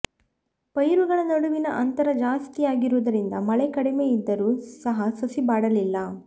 ಪೈರುಗಳ ನಡುವಿನ ಅಂತರ ಜಾಸ್ತಿಯಿರುವುದರಿಂದ ಮಳೆ ಕಡಿಮೆಯಿದ್ದರೂ ಸಹ ಸಸಿ ಬಾಡಲಿಲ್ಲ